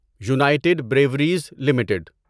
United Breweries limited